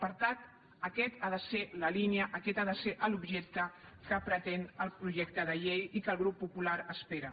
per tant aquesta ha de ser la línia aquest ha de ser l’objecte que pretén el projecte de llei i que el grup popular espera